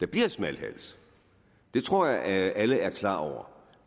bliver smalhals det tror jeg at alle er klar over